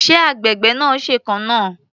Ṣé agbègbè náà ṣèkan náà?